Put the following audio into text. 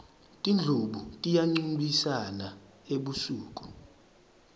tindlubu tiyacumbisana ebusuku